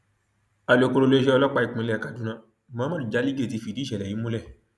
alūkkóró iléeṣẹ ọlọpàá ìpínlẹ kaduna muhammad jaligé ti fìdí ìṣẹlẹ yìí múlẹ